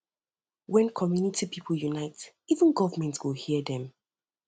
when community pipo unite together even government um go hear dem